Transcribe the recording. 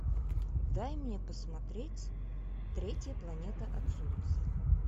дай мне посмотреть третья планета от солнца